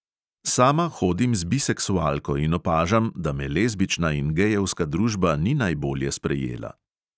"Sama hodim z biseksualko in opažam, da me lezbična in gejevska družba ni najbolje sprejela."